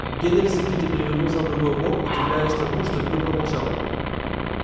генри сердито перевернулся на другой бок удивляясь тому что билл промолчал